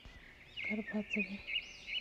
горбатове